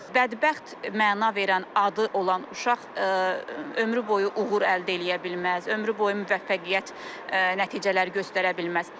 Bədbəxt məna verən adı olan uşaq ömrü boyu uğur əldə eləyə bilməz, ömrü boyu müvəffəqiyyət nəticələr göstərə bilməz.